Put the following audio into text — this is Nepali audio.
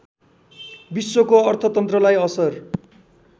विश्वको अर्थतन्त्रलाई असर